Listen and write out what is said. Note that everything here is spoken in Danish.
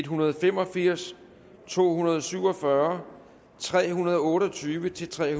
hundrede og fem og firs to hundrede og syv og fyrre tre hundrede og otte og tyve til tre